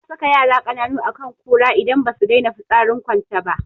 Ana saka yara kananu akan kura idan basu daina fitsarin kwance ba